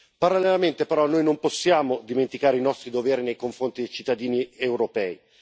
Parallelamente, però, noi non possiamo dimenticare i nostri doveri nei confronti dei cittadini europei